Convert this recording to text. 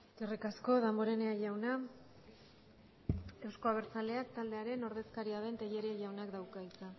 eskerrik asko damborenea jauna euzko abertzaleak taldearen ordezkaria den tellería jaunak dauka hitza